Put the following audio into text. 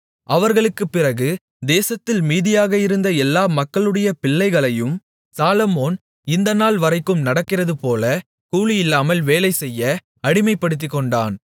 அவர்களுக்குப் பிறகு தேசத்தில் மீதியாக இருந்த எல்லா மக்களுடைய பிள்ளைகளையும் சாலொமோன் இந்த நாள்வரைக்கும் நடக்கிறதுபோல கூலியில்லாமல் வேலைசெய்ய அடிமைப்படுத்திக்கொண்டான்